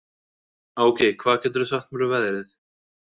Áki, hvað geturðu sagt mér um veðrið?